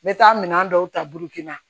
N bɛ taa minɛn dɔw ta burukina